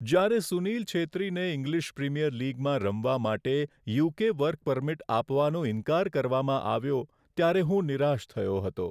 જ્યારે સુનીલ છેત્રીને English Premier લીગમાં રમવા માટે યુ.કે. વર્ક પરમિટ આપવાનો ઈનકાર કરવામાં આવ્યો ત્યારે હું નિરાશ થયો હતો.